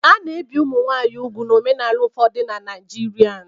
A na-ebi ụmụ nwanyị úgwù n'omenala ụfọdụ na Naijiria.